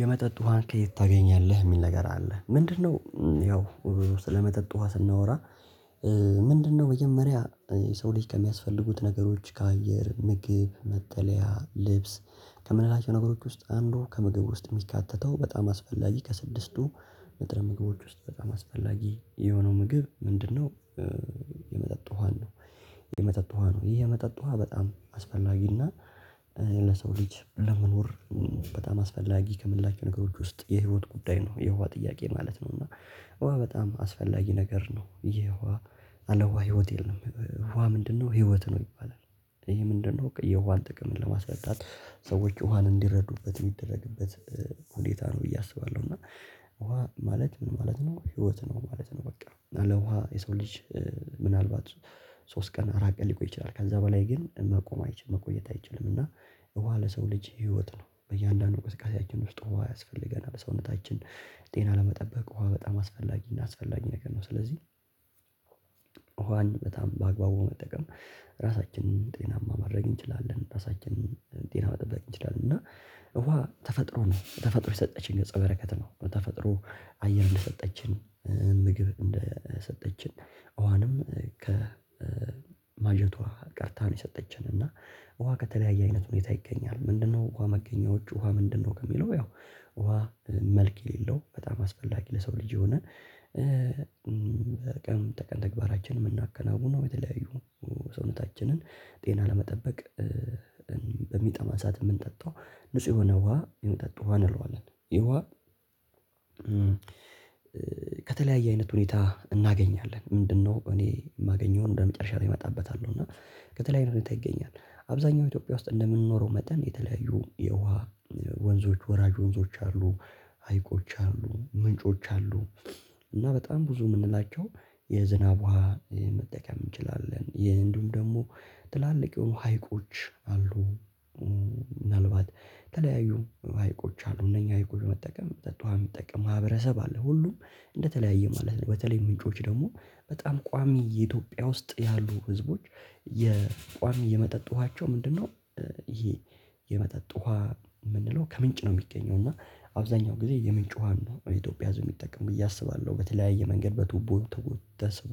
የመጠጥ ውሃን ከየት ታገኛለህ እሚል ነገር አለ ምንድን ነው? ያው ስለመጠጥ ውሃ ስናወራ። ምንድን ነው መጀመሪያ የሰው ልጅ ከሚያስፈልጉት ነገሮች ከአየር ምግብ መጠለያ ልብስ ከምንላቸው ነገሮች ውስጥ አንዱ ከምግብ ውስጥ እሚካተተው በጣም አስፈላጊ ከስድስቱ ንጥረ ምግቦች ውስጥ በጣም አስፈላጊ የሆነው ምግብ ምንድነው? የመጠጥ ውሃ ነው። የመጠጥ ውሃ ነው የመጠጥ ውሃ በጣም አስፈላጊና ለሰው ልጅ ለመኖር በጣም አስፈላጊ ከምንላቸው ነገሮች ውስጥ የህይወት ጉዳይ ነው። የውሃ ጥያቄ ማለት ነው። እና ውሃ በጣም አስፈላጊ ነገር ነው የውሃ ያለ ውሃ ህይወት የለም። ውሃ ምንድነው ህይወት ነው ይባላል። እሄ ምንድነው የውሃን ጥቅም ለማስረዳት ሰዎች ውሃን እንዲረዱበት እሚደረግበት ሁኔታ ነው ብዬ አስባለሁ። እና ውሃ ማለት ምን ማለት ነው ህይወት ነው ማለት ነው። በቃ ያለ ውሃ የሰው ልጅ። ምን አልባት። ሶስት ቀን አራት ቀን ሊቆይ ይችላል ከዛ በላይ ግን መቆም አይችልም መቆየት አይችልም። እና ውሃ ለሰው ልጅ ህይወት ነው በእያንዳንዱ እንቅስቃሴአችን ውስጥ ውሃ ያስፈልገናል ሰውነታችን። ጤና ለመጠበቅ ውሃ በጣም አስፈላጊና አስፈላጊ ነገር ነው ስለዚህ። ውሃን በጣም በአግባቡ መጠቀም ራሳችንን ጤናማ ማረግ እንችላለን። ራሳችንን ጤና እንችላለን እና እውሃ ተፈጥሮ ነው ተፈጥሮ የሰጠችን ገጸ በረከት ነው ተፈጥሮ። አየር እንደሰጠችን ምግብ እንደሰጠችን እኋንም ከማጀቷ ቀድታ ነው። የሰጠችን እና ውሃ ከተለያየ አይነት ሁኔታ ይገኛል። ምንድን ነው ውሃ መገኛዎቹ ውሃ ምንድን ነው ከሚለው? ያው ውሃ መልክ የሌለው በጣም አስፈላጊ ለሰው ልጅ የሆነ። ቀን ተቀን ተግባራችን እምናከናውነው የተለያዩ ሰውነታችንን ጤና ለመጠበቅ። በሚጠማ ሰዓት እምንጠጣው ንጹህ የሆነ ውሃ የምንጠጣው ውሃ እንለዋለን ይሄ ውሃ። ከተለያየ አይነት ሁኔታ እናገኛለን። ምንድን ነው እኔ እማገኘው እንደ መጨረሻ ላይ እመጣበታለሁ እና ከተለያየ ሁኔታ ይገኛል። አብዛኛው ኢትዮጵያ ውስጥ እንደምንኖረው መጠን የተለያዩ የውሃ ወንዞች ወራጅ ወንዞች አሉ። ሀይቆች አሉ ምንጮች አሉ። እና በጣም ብዙ እምንላቸው የዝናብ ውሃ መጠቀም እንችላለን። ይሄ እንዲሁም ደሞ ትላልቅ የሆኑ ሀይቆች አሉ። ምናልባት የተለያዩ ሀይቆች አሉ እነኚህ ሀይቆች መጠቀም መጠጥ ውሃ እሚጠቀም ማህበረሰብ አለ። ሁሉም እንደተለያየ ማለት ነው። በተለይ ምንጮች ደሞ በጣም ቋሚ የኢትዮጵያ ውስጥ ያሉ ህዝቦች። የቋሚ የመጠጥ ውሃቸው ምንድን ነው? ይሄ የመጠጥ ውሃ እምንለው ከምንጭ ነው እሚገኘው እና አብዛኛው ጊዜ የምንጭ ውሃ ነው የኢትዮጵያ ህዝብ እሚጠቀም ብዬ አስባለሁ። በተለያየ መንገድ በቱቦ ተስቦ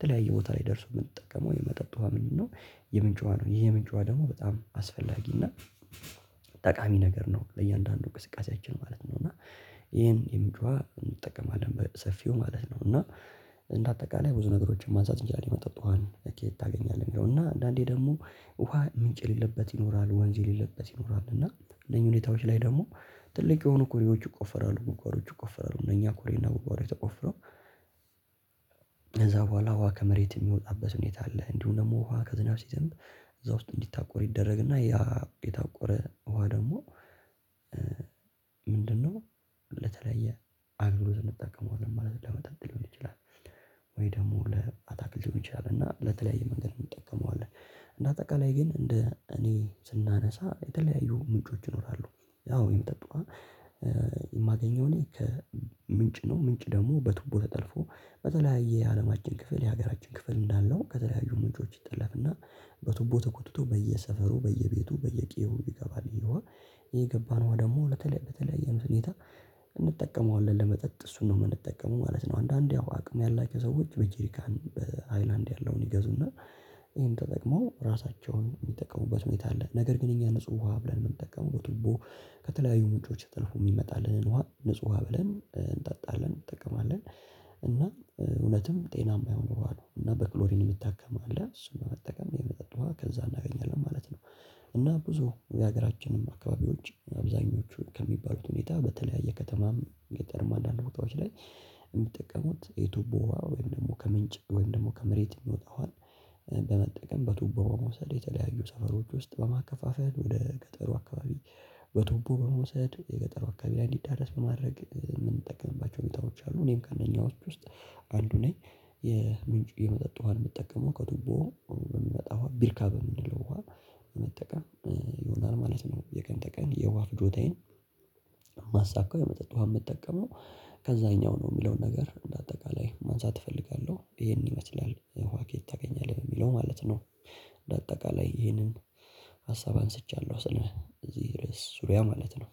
ተለያየ ቦታ ላይ ደርሶ እምንጠቀመው የመጠጥ ውሃ ምንድን ነው? የምንጭ ውሃ ነው። ይህ የምንጭ ውሃ ደሞ በጣም አስፈላጊ እና ጠቃሚ ነገር ነው። ለእያንዳንዱ እንቅሰቃሴአችን ማለት ነው። እና ይህን የምንጭ ውሃ እንጠቀማለን በሰፊው ማለት ነው። እና እንደ አጠቃላይ ብዙ ነገሮችን ማንሳት እንችላለን። የመጠጥ ውሃን ከየት ታገኛለህ እሚለው እና አንዳንዴ ደሞ ውሃ ምንጭ የሌለበት ይኖራል ወንዝ የሌለበት ይኖራል። እና እነኚህ ሁኔታዎች ላይ ደሞ ትልቅ የሆኑ ኩሬዎች ይቆፈራሉ ጉድጓዶች ይቆፈራሉ እነኛ ኮሬና ጉድጓዶች ተቆፍረው። ከዛ በኋላ ውሃ ከመሬት እሚወጣበት ሁኔታ አለ። እንዲሁ ደሞ ውሃ ከዝናብ ሲዘንብ። እዛ ውስጥ እንዲታቆር ይደረግና ያ የታቆረ ውሃ ደሞ። ምንድነው? ለተለያየ አገልግሎት እንጠቀመዋለን ማለት ለመጠጥ ሊሆን ይችላል። ወይ ደሞ ለአታክልት ሊሆን ይችላል እና ለተለያየ መንገድ እንጠቀመዋለን እና እንደ አጠቃላይ ግን እንደ እኔ ስናነሳ የተለያዩ ምንጮች ይኖራሉ። ያው የመጠጥ ውሃ። የማገኘው ልክ ምንጭ ነው። ምንጭ ደሞ በቱቦ ተጠልፎ በተለያየ የአለማችን ክፍል የሀገራችን ክፍል እንዳለው ከተለያዩ ምንጮች ይጠለፍ እና። በቱቦ ተጎትቶ በየሰፈሩ በየቤቱ በየቄየው ይገባል ይህ ውሃ። የገባን ውሃ ደሞ በተለያየ ሁኔታ እንጠቀመዋለን ለመጠጥ እሱን ነው እምንጠቀመው ማለት ነው። አንዳንዴ አቅም ያላች ሰዎች በጅሪካን በሃይላንድ ያለውን ይገዙና ይሄን ተጠቅመው ራሳቸውን እሚጠቀሙበት ሁኔታ አለ። ነገር ግን እኛ ንጹህ ውሃ ብለን እምንጠቀመው በቱቦ ከተለያዩ ምንጮች ተጥልፎ እሚመጣልህን ውሃ ንጹህ ውሃ ብለን እንጣጣለን እንጠቀማለን። እና እውነትም ጤናማ የሆኑ ውሃ ነው እና በክሎሪን እሚታከም አለ እሱን በመጠቀም የመጠጥ ውሃ ከዛ እናገኛለን ማለት ነው። እና ብዙ የሀገራችንም አካባቢዎች አብዛኞቹ ከሚባሉት ሁኔታ በተለያየ ከተማም ገጠርም እንዳንድ ቦታዎች ላይ እሚጠቀሙት የቱቦ ውሃ ወይም ደሞ ከምንጭ ወይም ደሞ ከመሬት እሚወጣው ውሃ በመጠቀም በቱቦ በመውሰድ የተለያዩ ሰፈሮች ውስጥ በማከፋፈል ወደ ገጠሩ አካባቢ በቱቦ በመውሰድ የገጠሩ አካባቢ ላይ እንዲዳረስ በማድረግ እምንጠቀምባቸው ሁኔታዎች አሉ። እኔም ከእነኛ ውስጥ አንዱ ነኝ። የምንጪ የመጠጥ ውሃ ነው እምትጠቀመው ከቱቦ ነው በሚመጣ ውሃ ቢርካ በምንለው ውሃ መጠቀም ይሆናል ማለት ነው። የቀን ተቀን የዋህ ፍጆታዬን እማሳካው የመጠጥ ውሃ እምጠቀመው ከዛኛው ነው እሚለውን ነገር በአጠቃላይ ማንሳት እፈልጋለሁ። ይሄንን ይመስላል ውሃ ከየት ታገኛለህ የሚለው ማለት ነው። በአጠቃላይ ይህንን ሀሳብ አንስቻለሁ ስለእዚህ ርዕስ ዙሪያ ማለት ነው።